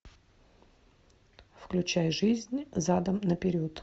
включай жизнь задом наперед